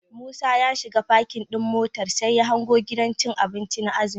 Musa ya shiga parking ɗin motar, sai ya hango gidan cin abinci na azumi.